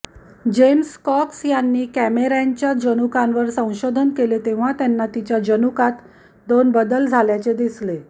James Cox यांनी कॅमेरॅनच्या जनुकांवर संशोधन केले तेव्हा त्यांना तिच्या जनुकात दोन बदल झाल्याचे दिसले